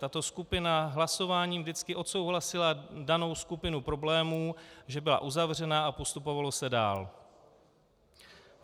Tato skupina hlasováním vždycky odsouhlasila danou skupinu problémů, že byla uzavřena, a postupovalo se dál.